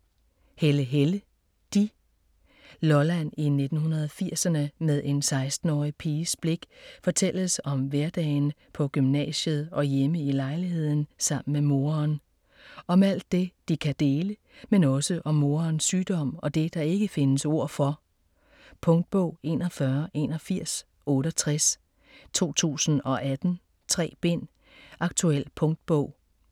Helle, Helle: de Lolland i 1980'erne, med en 16-årig piges blik fortælles om hverdagen på gymnasiet og hjemme i lejligheden sammen med moren. Om alt det de kan dele, men også om morens sygdom og det, der ikke findes ord for. Punktbog 418168 2018. 3 bind. Aktuel punktbog.